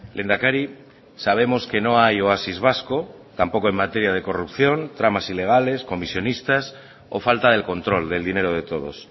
lehendakari sabemos que no hay oasis vasco tampoco en materia de corrupción tramas ilegales comisionistas o falta del control del dinero de todos